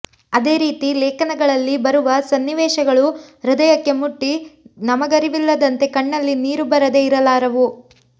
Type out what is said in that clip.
ಅದೇ ರೀತಿ ಲೇಖನಗಳಲ್ಲಿ ಬರುವ ಸನ್ನಿವೇಶಗಳು ಹೃದಯಕ್ಕೆ ಮುಟ್ಟಿ ನಮಗರಿವಿಲ್ಲದಂತೆ ಕಣ್ಣಲ್ಲಿ ನೀರು ಬರದೆ ಇರಲಾರವು